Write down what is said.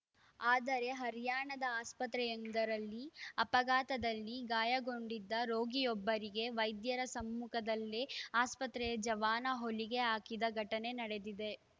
ಆದರೆ ಹರ್ಯಾಣದ ಆಸ್ಪತ್ರೆಯೊಂದರಲ್ಲಿ ಅಪಘಾತದಲ್ಲಿ ಗಾಯಗೊಂಡಿದ್ದ ರೋಗಿಯೊಬ್ಬರಿಗೆ ವೈದ್ಯರ ಸಮ್ಮುಖದಲ್ಲೇ ಆಸ್ಪತ್ರೆಯ ಜವಾನ ಹೊಲಿಗೆ ಹಾಕಿದ ಘಟನೆ ನಡೆದಿದೆ